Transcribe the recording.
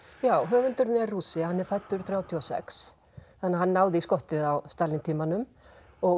já höfundurinn er Rússi hann er fæddur þrjátíu og sex þannig að hann náði í skottið á Stalín tímanum og